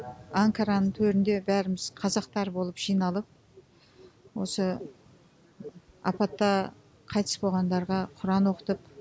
анкараның төрінде бәріміз қазақтар болып жиналып осы апатта қайтыс болғандарға құран оқытып